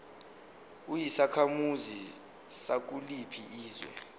uyisakhamuzi sakuliphi izwe